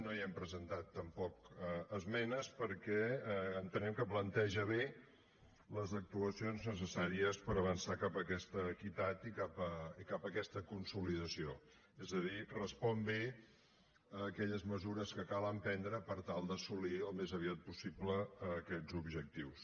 no hi hem presentat tampoc esmenes perquè entenem que planteja bé les actuacions necessàries per avançar cap a aquesta equitat i cap a aquesta consolidació és a dir respon bé a aquelles mesures que cal emprendre per tal d’assolir al més aviat possible aquests objectius